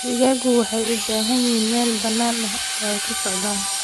Digaagga waxay u baahan yihiin meel bannaan oo ay ku socdaan.